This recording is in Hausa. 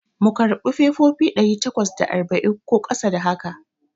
Mu karɓi fefofi ɗari takwas da arba'in ko ƙasa da haka?